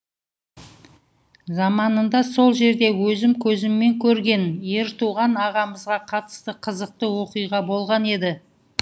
заманында сол жерде өзім көзіммен көрген ертуған ағамызға қатысты қызықты оқиға болған еді